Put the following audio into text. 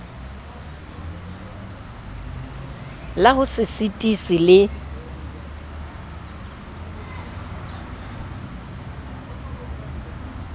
la ho se sitise le